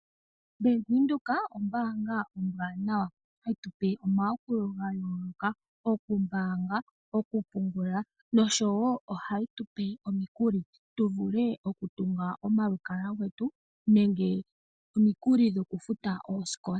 Bank Windhoek ombaanga ombwanawa hayi tupe omayakulo ga yooloka. Okumbaanga, okupungula nosho woo oha yi tupe omikuli tu vule oku tunga omalukalwa getu nenge omikuli dhoku futa oosikola.